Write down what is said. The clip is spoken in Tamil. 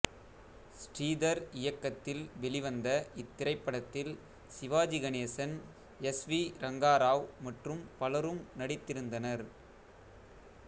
ஸ்ரீதர் இயக்கத்தில் வெளிவந்த இத்திரைப்படத்தில் சிவாஜி கணேசன் எஸ் வி ரங்கராவ் மற்றும் பலரும் நடித்திருந்தனர்